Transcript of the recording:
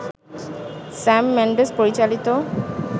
Sam Mendes পরিচালিত